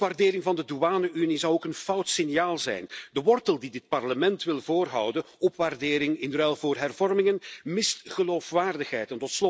Een opwaardering van de douane unie zou ook een fout signaal zijn. De wortel die dit Parlement wil voorhouden opwaardering in ruil voor hervormingen mist geloofwaardigheid.